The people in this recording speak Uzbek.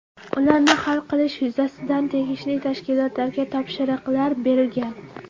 Ularni hal qilish yuzasidan tegishli tashkilotlarga topshiriqlar berilgan.